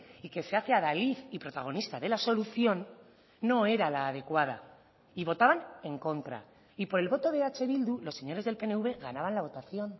y que se hace adalid y protagonista de la solución no era la adecuada y votaban en contra y por el voto de eh bildu los señores del pnv ganaban la votación